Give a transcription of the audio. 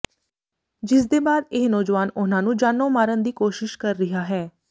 ਜਿਸਦੇ ਬਾਅਦ ਇਹ ਨੌਜਵਾਨ ਉਨ੍ਹਾਂ ਨੂੰ ਜਾਨੋਂ ਮਾਰਨ ਦੀ ਕੋਸ਼ਿਸ਼ ਕਰ ਰਿਹਾ ਹੈ